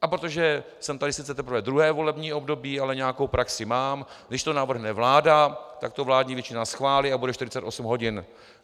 A protože jsem tady sice teprve druhé volební období, ale nějakou praxi mám, když to navrhne vláda, tak to vládní většina schválí a bude 48 hodin.